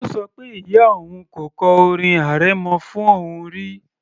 Ó ṣọ pé ìyá òun kò kọ orin arẹmọ fún òun rí